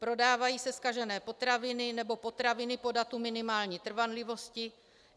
Prodávají se zkažené potraviny nebo potraviny po datu minimální trvanlivosti.